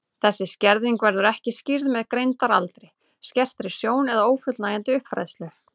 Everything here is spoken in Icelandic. Þessi skerðing verður ekki skýrð með greindaraldri, skertri sjón eða ófullnægjandi uppfræðslu.